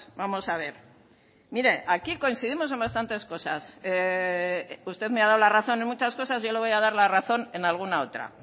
vamos a ver mire aquí coincidimos en bastantes cosas usted me ha dado la razón en muchas cosas yo le voy a dar la razón en alguna otra